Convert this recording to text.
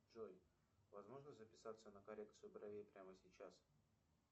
джой возможно записаться на коррекцию бровей прямо сейчас